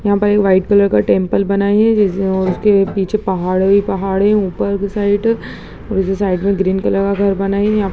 यहाँ पर एक वाइट कलर टेम्पल बनाया जिसके उसके पीछे पहाड़ ही पहाड़ है। ऊपर के साइड दूसरे साइड में ग्रीन कलर का घर बना है यहाँ --